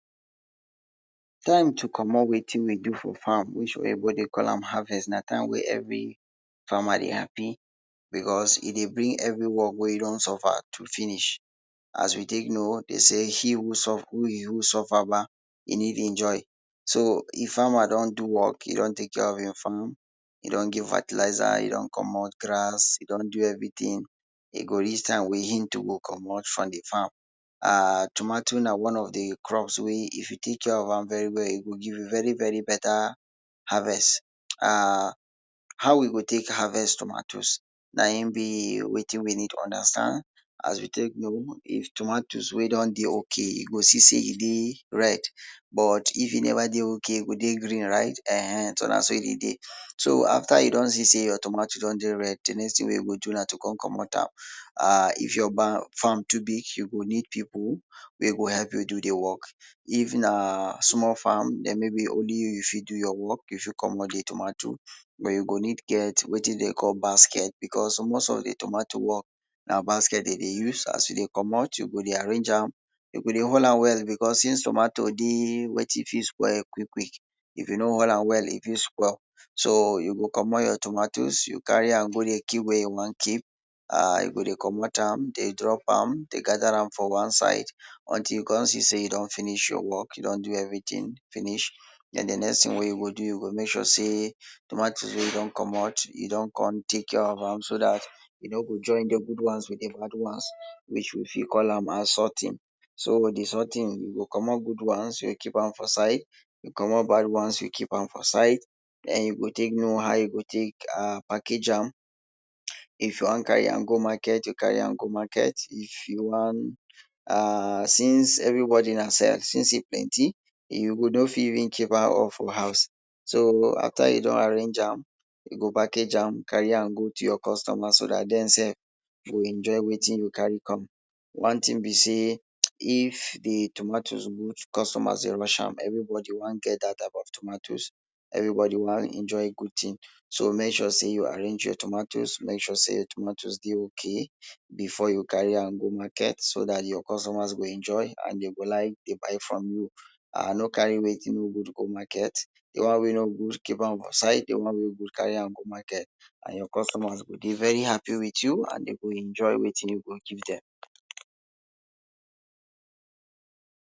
Time to commot wetin we do for farm which oyinbo dey call am harvest, na time wey every farmer dey happy because e dey bring every work wey you don suffer do finish. As we tek know, de say im who suffer, im who suffer kpa, e need enjoy. So, if farmer don do work, e don tek care of im farm, e don give fertilizer, e don commot grass, e don do everytin, e go reach time wey im too go commot from de farm. And tomato, na one of de crops wey if you tek care of am very well, e go give you very, very beta harvest. And how we go tek harvest tomatoes? Na im be wetin we need understand as we tek know, if tomato wey don dey okay, you go see e dey red. But, if e never dey okay, e go dey green, right? um So, na so e dey dey. So, afta you don see say your tomato don dey red, de next tin wey you go do na to come commot am. um If your farm too big, you go need pipu wey go help you do de work, if na small farm, den maybe only you fit do your work, if you commot de tomatoes you go need get wetin de dey call basket, because most of de tomato na basket dem dey use. As you dey commot, you go dey arrange am. You go dey hold am well because since tomato na basket dem dey use. As you dey commot, you go dey arrange am. You go dey hold am well because since tomato dey wetin fit spoil quick, quick. If you no hold am well, e fit spoil. So, you go commot your tomatoes, you carry am go dey keep where you wan keep. um You go dey commot am, dey drop am, dey gather am for one side until you come see say you don finish your work. You don do everytin finish. Den, de next tin wey you go do, you go mek sure say tomatoes wey you don commot, you don come tek care of am so dat you no go join de good ones with de bad ones which we fit call assorting. So, de sorting, you go commot good ones, you go keep am for side, you commot bad ones, keep am for side. Den, you go tek know how you go tek package am. If you wan carry am go market, you carry am go market, if you wan um since everybody na see am see as say e plenty, you go don fit for house. So, afta you don arrange am, you go package am, carry am go to your customer, so dat dem sef go enjoy wetin you carry come. One tin be say if de tomatoes good, customers dey rush am. Everybody wan get dat type of tomatoes. Everybody wan enjoy good tin. So, mek sure say you arrange your tomatoes, mek sure say your tomatoes dey okay before you carry am go market so dat your customer go enjoy and de go like dey buy from you. um no carry wetin no good go market, de one wey no good, keep am for side, de one wey good, carry am go market and your customers go dey very happy with you and de go enjoy wetin you go give dem.